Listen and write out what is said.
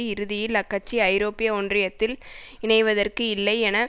இறுதியில் அக்கட்சி ஐரோப்பிய ஒன்றியத்தில் இணைவதற்கு இல்லை என